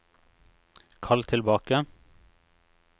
kall tilbake